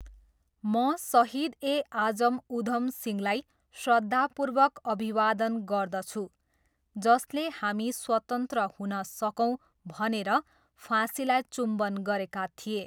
म सहिद ए आजम उधम सिंहलाई श्रद्धापूर्वक अभिवादन गर्दछु जसले हामी स्वतन्त्र हुन सकौँ भनेर फाँसीलाई चुम्बन गरेका थिए।